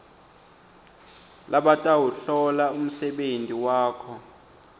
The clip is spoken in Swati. labatawuhlola umsebenti wakho